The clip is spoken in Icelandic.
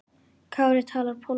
Kári talar pólsku.